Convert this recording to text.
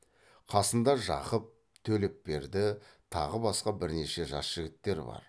қасында жақып төлепберді тағы басқа бірнеше жас жігіттер бар